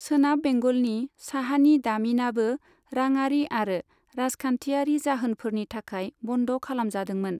सोनाब बेंगलनि साहानि दामिनाबो राङारि आरो राजखान्थियारि जाहोनफोरनि थाखाय बन्द खालामजादोंमोन।